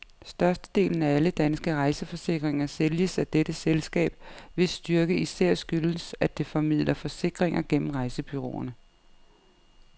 Størstedelen af alle danske rejseforsikringer sælges af dette selskab, hvis styrke især skyldes, at det formidler forsikringer gennem rejsebureauerne.